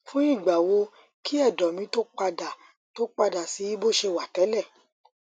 fún ìgbà wo kí ẹdọ mi tó padà tó padà sí bó ṣe wà tẹlẹ